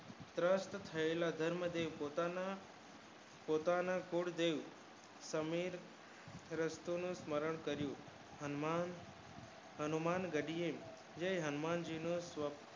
ભ્ર્સટ થયેલા લોકોની પોતાના સ્વર જોય સામે રસોડું ધારણ કર્યુંએ અનમોલ ઘડીયે કર્યું જે હનુમાન જી નો